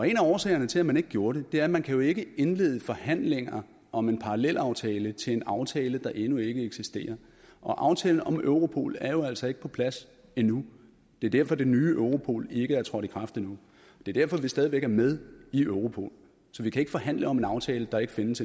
en af årsagerne til at man ikke gjorde det er at man jo ikke kan indlede forhandlinger om en parallelaftale til en aftale der endnu ikke eksisterer aftalen om europol er jo altså ikke på plads endnu det er derfor det nye europol ikke er trådt i kraft endnu det er derfor vi stadig væk er med i europol så vi kan ikke forhandle om en aftale der ikke findes